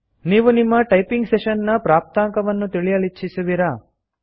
ನೀವು ನಿಮ್ಮ typing session ನ ಪ್ರಾಪ್ತಾಂಕವನ್ನು ತಿಳಿಯಲಿಚ್ಛಿಸುವಿರಾ